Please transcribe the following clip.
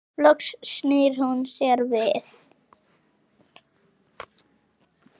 Loks snýr hún sér við.